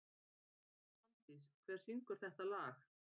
Svandís, hver syngur þetta lag?